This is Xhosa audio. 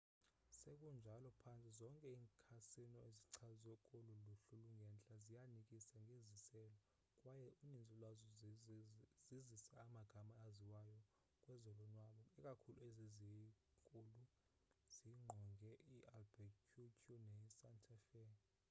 sekunjalo phantse zonke iikhasino ezichazwe kolu luhlu lungentla ziyanikisa ngeziselo kwaye uninzi lwazo zizisa amagama aziwayo kwezolonwabo ikakhulu ezi zinkulu zingqonge i-albuquerque ne santa fe